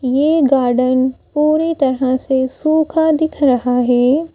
ये गार्डन पूरी तरह से सूखा दिख रहा है।